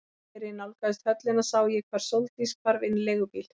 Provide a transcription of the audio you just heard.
Þegar ég nálgaðist höllina sá ég hvar Sóldís hvarf inn í leigubíl.